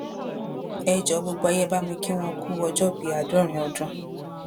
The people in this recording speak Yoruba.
ẹ jọọ gbogbo ayé ẹ bá mi kí wọn ku ọjọòbí àádọrin ọdún